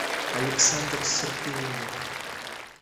александр серпионов